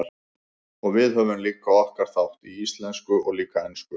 Og við höfum líka okkar þátt, á íslensku og líka ensku.